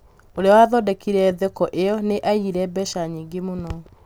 ũrĩa waathondekire thoko ĩyo nĩiyire mbeca nyingĩ mũno